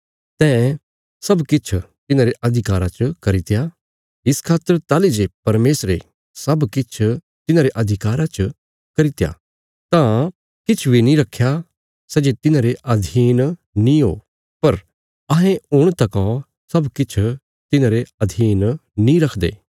तैं सब किछ तिन्हांरे अधिकारा च करित्या इस खातर ताहली जे परमेशरे सब किछ तिन्हांरे अधिकारा च करित्या तां तिने किछ बी नीं रखया सै जे तिन्हांरे अधीन नीं हो पर अहें हुण तकौ सब किछ तिन्हांरे अधीन नीं देखदे